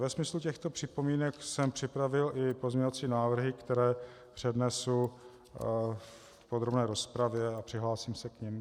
Ve smyslu těchto připomínek jsem připravil i pozměňovací návrhy, které přednesu v podrobné rozpravě a přihlásím se k nim.